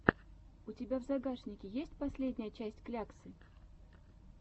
у тебя в загашнике есть последняя часть кляксы